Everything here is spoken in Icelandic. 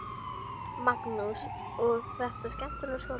Magnús: Og er þetta skemmtilegur skóli?